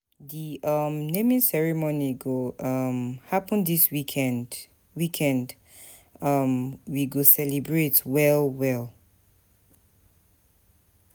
Di um naming ceremony go um happen dis weekend, weekend, um we go celebrate well well.